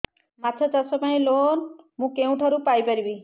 ମାଛ ଚାଷ ପାଇଁ ଲୋନ୍ ମୁଁ କେଉଁଠାରୁ ପାଇପାରିବି